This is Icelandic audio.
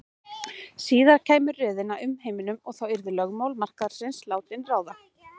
Síðar kæmi röðin að umheiminum og þá yrðu lögmál markaðarins látin ráða.